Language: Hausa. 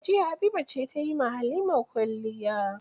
Jiya Habiba ce ta yi Halima kwalliya.